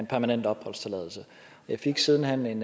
permanent opholdstilladelse jeg fik siden hen en